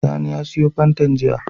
Sani ya siyo fantan jiya